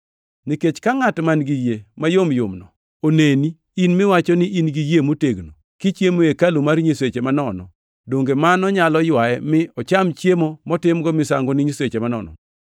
Nikech ka ngʼat man-gi yie mayomyomno oneni, in miwacho ni in gi yie motegno, kichiemo e hekalu mar nyiseche manono, donge mano nyalo ywaye mi ocham chiemo motimgo misango ni nyiseche manono?